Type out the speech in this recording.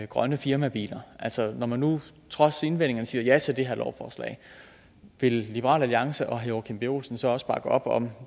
grønne firmabiler når man nu trods invendinger siger ja til det her lovforslag vil liberal alliance og herre joachim b olsen så også bakke op om